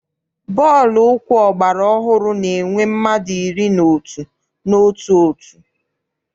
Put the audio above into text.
Bọọlụ ụkwụ ọgbara ọhụrụ na-enwe mmadụ iri na otu n'otu òtù.